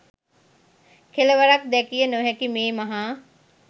කෙළවරක් දැකිය නොහැකි මේ මහා